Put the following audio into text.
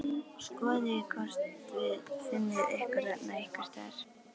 Skoðið hvort þið finnið ykkur þarna einhvers staðar